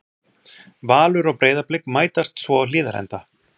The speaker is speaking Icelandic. Valur og Breiðablik mætast svo á Hlíðarenda.